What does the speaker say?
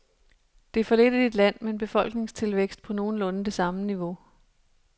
Det er for lidt i et land med en befolkningstilvækst på nogenlunde det samme niveau.